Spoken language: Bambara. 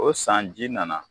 O san ji nana